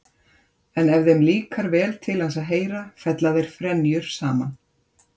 En ef þeim líkar vel til hans að heyra fella þeir frenjur saman.